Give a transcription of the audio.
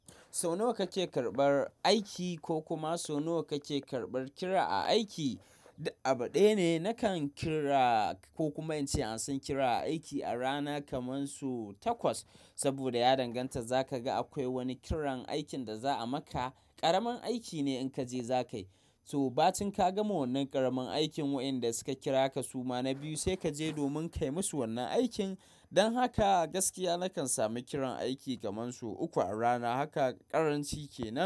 Sau nawa kake karɓar aiki ko kuma sau nawa kake karɓar kira a aiki? Abaɗane nakan kira ko kuma inta ansan kira aiki a rana kamansu takwas. Saboda ya danganta zaka ga akwai wani kiran aikin da za a maka. Karamin aiki ne in kaje zakai. So batun ka ga wannan ƙaramin aikin wayanda suka kira ka suma na biyu sai kaje domin kaimusu wannan aikin. Don haka gaskiya nakan samu kiran aiki kamansu uku a rana. Haka karanci kenan.